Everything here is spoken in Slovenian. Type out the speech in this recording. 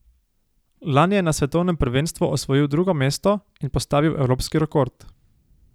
Lani je na svetovnem prvenstvu osvojil drugo mesto in postavil evropski rekord.